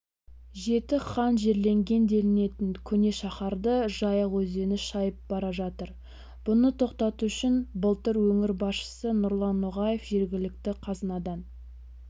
жеті хан жерленген делінетін көне шаһарды жайық өзені шайып бара жатыр бұны тоқтату үшін былтыр өңір басшысы нұрлан ноғаев жергілікті қазынадан